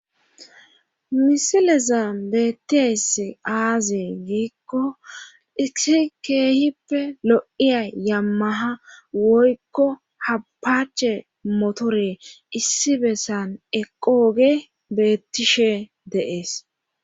Misileza beettees aaze giikko ese keehippe lo7iya yammaha woykko hapaache motore issi bessan eqooge beettishe deees.